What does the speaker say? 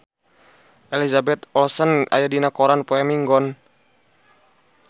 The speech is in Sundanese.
Elizabeth Olsen aya dina koran poe Minggon